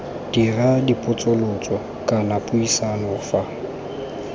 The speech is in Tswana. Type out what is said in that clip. dira dipotsolotso kana puisano fa